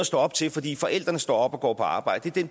stå op til fordi forældrene står op og går på arbejde det er